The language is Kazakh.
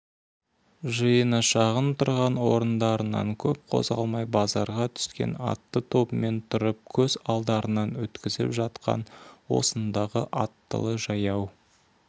жиыны шағын тұрған орындарынан көп қозғалмай базарға түскен атты тобымен тұрып көз алдарынан өткізіп жатқан осындағы аттылы жаяу